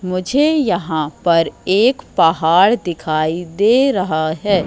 मुझे यहां पर एक पहाड़ दिखाई दे रहा हैं।